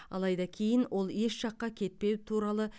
алайда кейін ол еш жаққа кетпеу туралы